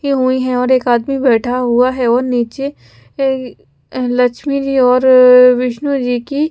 हुई है और एक आदमी बैठा हुआ है और नीचे लक्ष्मी जी और विष्णु जी की --